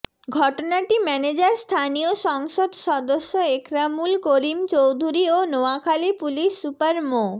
ঘটনাটি ম্যানেজার স্থানীয় সংসদ সদস্য একরামুল করিম চৌধুরী ও নোয়াখালী পুলিশ সুপার মো